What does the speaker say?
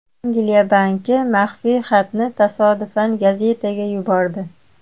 Angliya banki maxfiy xatni tasodifan gazetaga yubordi.